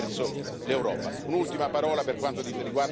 Un'ultima parola per quanto riguarda la tutela dello Stato di diritto.